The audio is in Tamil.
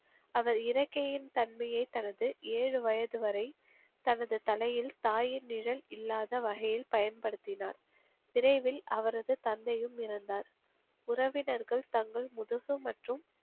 அவர் இறக்கையின் தன்மையை தனது ஏழு வயது வரை தனது தலையில் தாயின் நிழல் இல்லாத வகையில் பயன்படுத்தினார். விரைவில் அவரது தந்தையும் இறந்தார். உறவினர்கள் தங்கள் முதுகு மற்றும்,